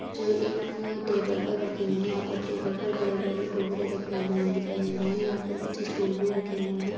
जो एक new table पर रखे हुए है यहाँ पर टेबल पर बड़े-बड़े टोकरे रखे हुए दिखाई दे रहे है यहाँ पर कुछ स्टूल भी रखे हुए है।